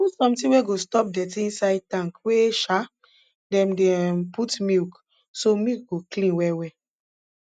put sometin wey go stop dirty inside tank wey um dem dey um put milk so milk go clean well well